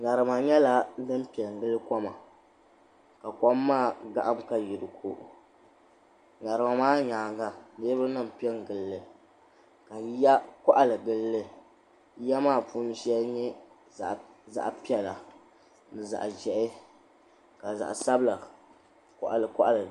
Ŋarima nyɛla din pe n-gili koma ka kom maa gahim ka yi di ko ŋarima maa nyaaŋa niriba nima m-pe gili li yiya kɔɣili gili li ya maa puuni shɛli nyɛ zaɣ'piɛla ni zaɣ'ʒɛhi ka zaɣ'sabila kɔɣili kɔɣili.